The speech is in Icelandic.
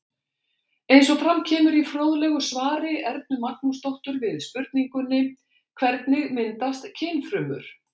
Eins og fram kemur í fróðlegu svari Ernu Magnúsdóttur við spurningunni Hvernig myndast kynfrumur?